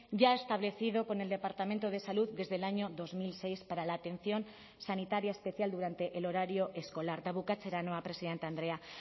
ya establecido con el departamento de salud desde el año dos mil seis para la atención sanitaria especial durante el horario escolar eta bukatzera noa presidente andrea